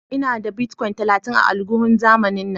Ina da "Bitcoin" talatin a alguhun zamanin na.